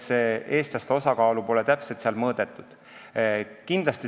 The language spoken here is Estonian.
Eestlaste osakaalu pole seal täpselt mõõdetud.